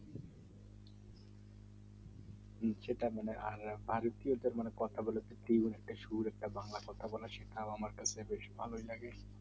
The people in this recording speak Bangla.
হুম সেটাই যেটা বাড়িতে কথা বলে প্রচুর একটা সুন্দর বাংলা কথা বলে সেটা আমার কাছে বেশ ভালো লাগে